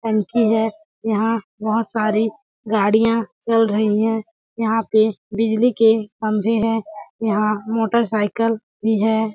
टंकी है यहाँ बहोत सारी गाड़िया चल रही है यहाँ पे बिजली के खम्बे है यहाँ मोटरसाइकिल भी हैं।